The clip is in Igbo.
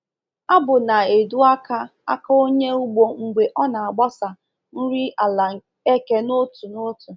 Abụ na-edu aka aka onye ugbo mgbe ọ na-agbasa nri ala eke n’otu n’otu.